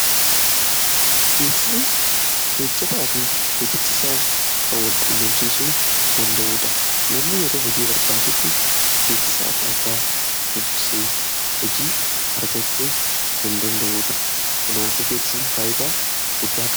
Beeksisni hojjataa fi hojjachiisaa kan wal qunnamsiisuudha. Namni yeroo hojii galuu barbaadu, beeksisa hordofuu qaba. Kanaafuu beeksisni faayidaa guddaa qaba.